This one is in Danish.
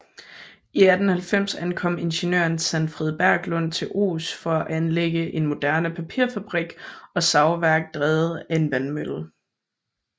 I 1890 ankom ingeniøren Sanfrid Berglund til Ohs for at anlægge en moderne papirfabrik og savværk drevet af en vandmølle